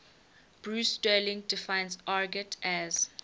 bruce sterling defines argot as